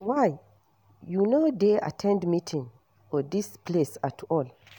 Why you no dey at ten d meeting for dis place at all